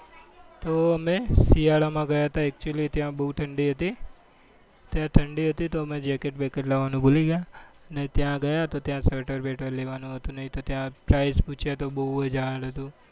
તો અમે શિયાળા માં ગયા હતા actually ત્યાં બઉ ઠંડી હતી ત્યાં ઠંડી હતી તો અમે jacket બેકેટ લેવા નું ભૂલી ગયા ને ત્યાં ગયા તો sweater બેટર લેવા નું હતું બઉ